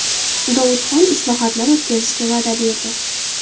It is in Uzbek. Dovudxon islohotlar o‘tkazishga va’da berdi.